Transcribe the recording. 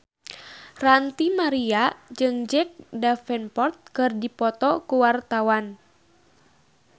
Ranty Maria jeung Jack Davenport keur dipoto ku wartawan